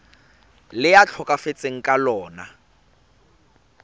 le a tlhokafetseng ka lona